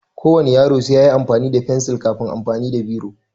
Ko wane yaro sai yayi amfani da fensil kafin amfani da biro